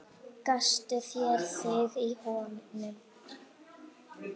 Gastu séð þig í honum?